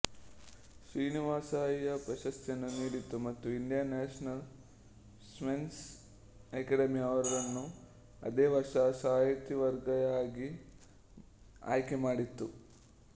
ಶ್ರೀನಿವಾಸಯ್ಯ ಪ್ರಶಸ್ತಿಯನ್ನು ನೀಡಿತು ಮತ್ತು ಇಂಡಿಯನ್ ನ್ಯಾಷನಲ್ ಸೈನ್ಸ್ ಅಕಾಡೆಮಿ ಅವರನ್ನು ಅದೇ ವರ್ಷ ಸಹವರ್ತಿಯಾಗಿ ಆಯ್ಕೆ ಮಾಡಿತು